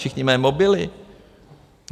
Všichni mají mobily.